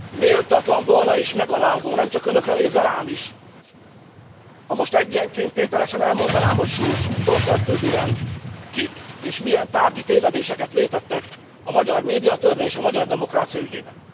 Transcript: Méltatlan volna és megalázó, nemcsak önökre nézve, rám is, ha most egyenként tételesen elmondanám, hogy Schulz úrtól kezdődően, kik és milyen tárgyi tévedéseket vétettek a magyar médiatörvény és a magyar demokrácia ügyében.